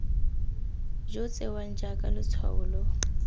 jo tsewang jaaka letshwao lo